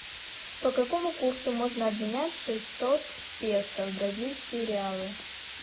по какому курсу можно обменять шестьсот песо в бразильские реалы